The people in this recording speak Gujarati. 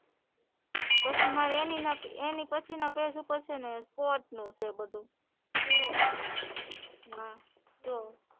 પછી મારે એની અને પછી ના પેજ ઉપર સ્પોર્ટ્સ નું છે બધું હમ હા જો